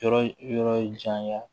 Yɔrɔ yɔrɔ janya